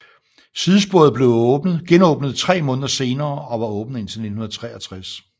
Sidesporet blev genåbnet 3 måneder senere og var åbent indtil 1963